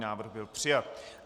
Návrh byl přijat.